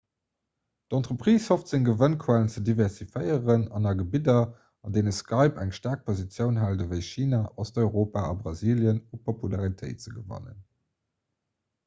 d'entreprise hofft seng gewënnquellen ze diversifizéieren an a gebidder an deene skype eng staark positioun hält ewéi china osteuropa a brasilien u popularitéit ze gewannen